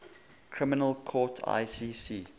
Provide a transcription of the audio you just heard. criminal court icc